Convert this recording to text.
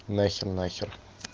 нахер нахер